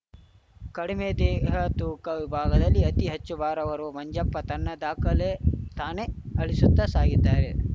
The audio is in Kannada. ಕಡಿಮೆ ದೇಹ ತೂಕ ವಿಭಾಗದಲ್ಲಿ ಅತಿ ಹೆಚ್ಚು ಭಾರ ಹೊರುವ ಮಂಜಪ್ಪ ತನ್ನ ದಾಖಲೆ ತಾನೇ ಅಳಿಸುತ್ತಾ ಸಾಗಿದ್ದಾರೆ